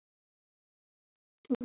Hvernig fer þetta fram?